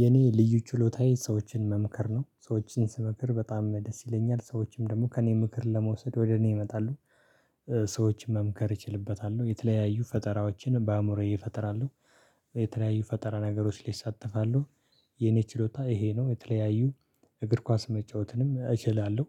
የኔ ልዩ ችሎታዬ ሰዎችን መምከር ነው ሰዎችን ስመክር በጣም ደስ ይለኛል ሰዎችም ደግሞ ከእኔ ምክር ለመውሰድ ወደ እኔ ይመጣሉ። ሰዎችን መምከር እችልበታለሁ የተለያዩ ፈጠራዎችን በአእምሮዬ እፈጥራለሁ። የተለያዩ ፈጠራ ነገሮች ላይ እሳተፋለሁ። የኔ ችሎታ ይሄ ነው የተለያዩ እግር ኳስ መጫወትም እችላለሁ።